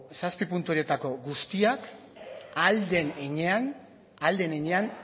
zazpi puntu horietako guztiak ahal den heinean